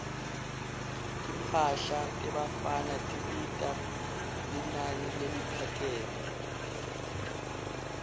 timphahla tebafana tibita linani leliphakeme